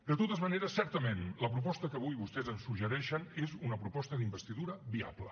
de totes maneres certament la proposta que avui vostès ens suggereixen és una proposta d’investidura viable